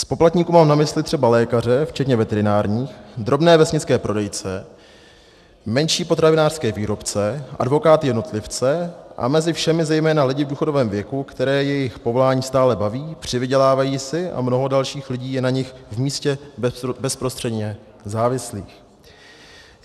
Z poplatníků mám na mysli třeba lékaře včetně veterinárních, drobné vesnické prodejce, menší potravinářské výrobce, advokáty-jednotlivce a mezi všemi zejména lidi v důchodovém věku, které jejich povolání stále baví, přivydělávají si a mnoho dalších lidí je na nich v místě bezprostředně závislých.